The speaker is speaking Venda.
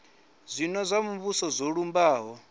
zwino zwa muvhuso zwo lumbaho